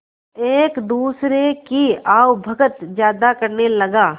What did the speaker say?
एक दूसरे की आवभगत ज्यादा करने लगा